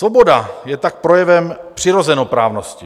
Svoboda je tak projevem přirozenoprávnosti.